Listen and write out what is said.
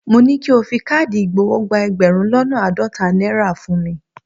Mo ní ki o fi káàdì ìgbowó gba ẹgbẹ̀rún lọ́nà àádọ́ta náírà fún mi.